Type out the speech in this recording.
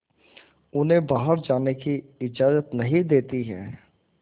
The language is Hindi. उन्हें बाहर जाने की इजाज़त नहीं देती है